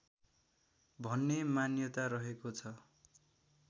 भन्ने मान्यता रहेको छ